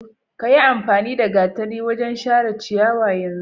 Ka yiamfani da gatari wajen share ciyawa yanzu!